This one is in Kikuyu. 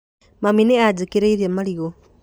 Mami nĩ anjĩkĩrĩire marigũ